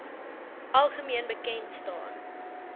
algemeen bekend staan